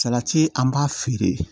Salati an b'a feere